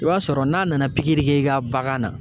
I b'a sɔrɔ n'a nana pikiri k'i ka bagan na